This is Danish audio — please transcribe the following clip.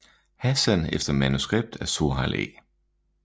Hassan efter manuskript af Sohail A